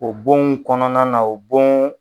O bonw kɔnɔna na o bon